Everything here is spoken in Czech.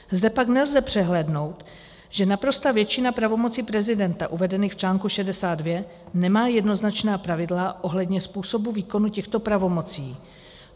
Zde pak nelze přehlédnout, že naprostá většina pravomocí prezidenta uvedených v článku 62 nemá jednoznačná pravidla ohledně způsobu výkonu těchto pravomocí.